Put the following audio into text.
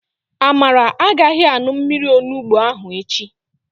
Amara agaghị aṅụ mmiri onugbo ahụ echi.